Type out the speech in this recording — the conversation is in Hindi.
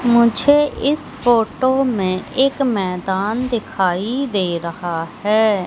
मुझे इस फोटो में एक मैदान दिखाई दे रहा हैं।